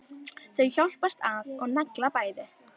Þau hjálpast að og negla bæði.